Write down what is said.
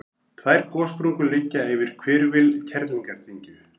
tvær gossprungur liggja yfir hvirfil kerlingardyngju